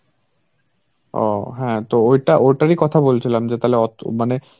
ও হ্যাঁ তো ওইটা ওটারই কথা বলছিলাম যে তাহলে অত~ মানে